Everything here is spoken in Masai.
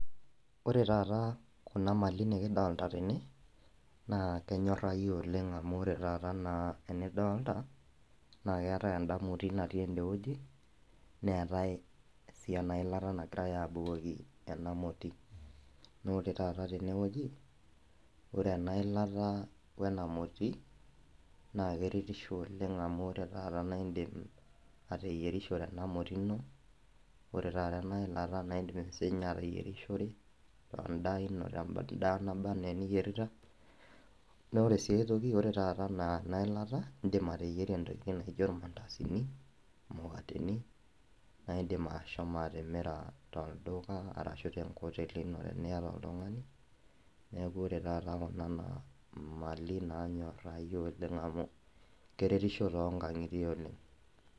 Ore taata kuna mali nikidolta tene naa kenyorrai oleng amu ore taata enaa enidolta naa keetae enda moti natii ende wueji neetae sii ena ilata nagirae abukoki ena moti nore taata tenewoji ore ena ilata wena moti naa keretisho oleng amu ore taata naindim ateyierishore ena moti ino ore taata ena ilata naindim sinye ateyierishore endaa ino tendaa neba anaa eniyierita naa ore sii ae toki ore taata ena ena ilata naindim ateyieri intokiting naijo irmandasini imukateni naindim ashomo atimira tolduka arashu tenkoteli ino teniyata oltung'ani neku ore taata kuna naa mali nanyorai oleng amu keretisho tonkang'itie oleng.